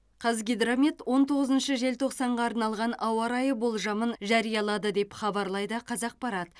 қазгидромет он тоғызыншы желтоқсанға арналған ауа райы болжамын жариялады деп хабарлайды қазақпарат